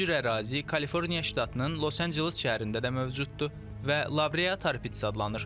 Bu cür ərazi Kaliforniya ştatının Los Anceles şəhərində də mövcuddur və Labreatarpits adlanır.